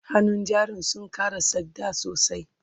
hannun jarin sun Kara tsakmda sosai